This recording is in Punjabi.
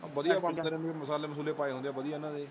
ਵਧੀਆ ਬਣਦੇ ਨੇ ਮੀਟ ਮਸਾਲੇ ਮੁਸਲੇ ਪਏ ਹੁੰਦੇ ਇਹਨਾਂ ਦੇ।